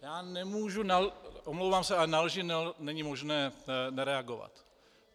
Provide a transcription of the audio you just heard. Já nemůžu, omlouvám se, ale na lži není možné nereagovat.